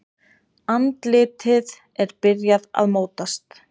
Andlitið er byrjað að mótast.